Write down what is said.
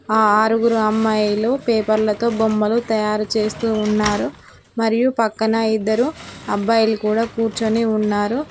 ఆ ఆరుగురు అమ్మాయిలు పేపర్లతో బొమ్మలు తయారు చేస్తూ ఉన్నారు మరియు పక్కన ఇద్దరు అబ్బాయిలు కూడా కూర్చొని ఉన్నారు.